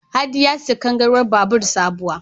Hadi ya sayi kangarwar babur sabuwa.